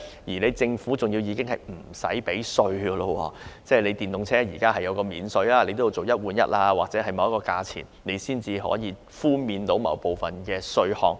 雖然現時設有電動車首次登記稅寬免安排，但車輛也要符合"一換一"計劃條件或達某個價錢才能獲寬免部分稅項。